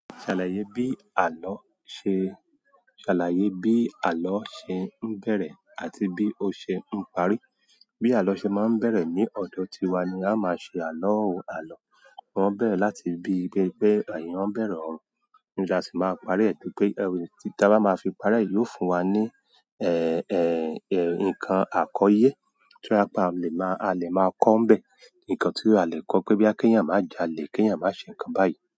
Ṣàlàyé bí àlọ́ ṣe, ṣàlàyé bí àlọ́ ṣe ń bẹ̀rẹ̀ àti bí ó ṣe ń parí. Bí àlọ́ ṣe máa ń bẹ̀rẹ̀ ní ọ̀dọ̀ tiwa ni ao máa ṣe àlọ́ o. Àlọ́ o máa ń bẹ̀rẹ̀ láti bí pé eeyàn bẹ̀rẹ̀ ọ̀rọ̀. Tí a sì máa parí rẹ̀ pé, tí ta bá máa fi parí yóò fún wa ní, nǹkan àkọyẹ́ tí a lè máa, a lè máa kọ́ bẹ̀. Nǹkan tí a lè kọ́ pé boya kẹ́yàn máa ń jalè, kíyàn máa ṣe nǹkan báyìí.